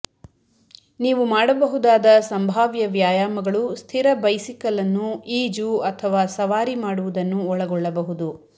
ನೀವು ಮಾಡಬಹುದಾದ ಸಂಭಾವ್ಯ ವ್ಯಾಯಾಮಗಳು ಸ್ಥಿರ ಬೈಸಿಕಲ್ ಅನ್ನು ಈಜು ಅಥವಾ ಸವಾರಿ ಮಾಡುವುದನ್ನು ಒಳಗೊಳ್ಳಬಹುದು